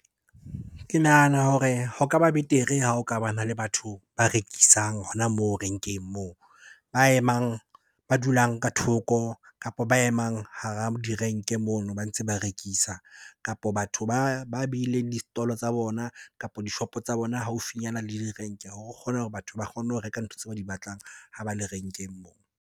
Ke nahana hore ho ka ba betere ha o ka bana le batho ba rekisang hona moo renkeng moo. Ba emang, ba dulang ka thoko, kapa ba emang hara direnke ke mono ba ntse ba rekisa. Kapo batho ba beileng di-stall-o tsa bona, kapo dishopo tsa bona haufinyana le direnke hore kgone hore batho ba kgone ho reka ntho tseo ba di batlang ha ba le renkeng moo.